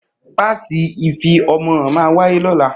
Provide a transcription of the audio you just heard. Pàtí ìfí ọmọ hàn mà wàyé lola